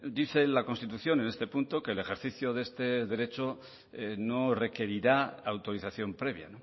dice la constitución en este punto que el ejercicio de este derecho no requerirá autorización previa